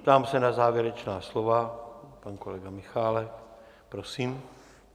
Ptám se na závěrečná slova - pan kolega Michálek, prosím.